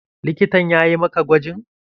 Likitan yayi maka gwajin?